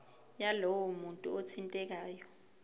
yalowo muntu othintekayo